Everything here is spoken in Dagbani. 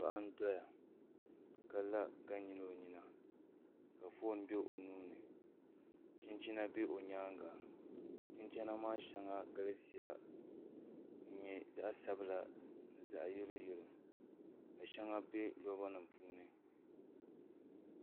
Paɣa n doya ka la ka nyili o nyina ka foon bɛ o nuuni chinchina bɛ o nyaanga chinchina maa shɛŋa galisiya n nyɛ zaɣ sabila ni zaɣ yɛlo yɛlo ka shɛŋa bɛ loba nim puuni